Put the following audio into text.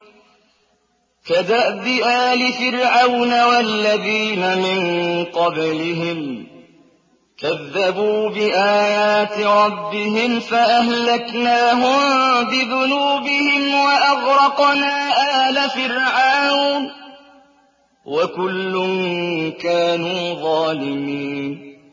كَدَأْبِ آلِ فِرْعَوْنَ ۙ وَالَّذِينَ مِن قَبْلِهِمْ ۚ كَذَّبُوا بِآيَاتِ رَبِّهِمْ فَأَهْلَكْنَاهُم بِذُنُوبِهِمْ وَأَغْرَقْنَا آلَ فِرْعَوْنَ ۚ وَكُلٌّ كَانُوا ظَالِمِينَ